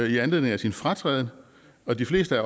i anledning af sin fratræden og de fleste af